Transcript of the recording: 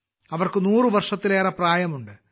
അവർക്ക് 100 വയസ്സിലേറെ പ്രായമുണ്ട്